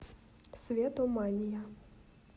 светомания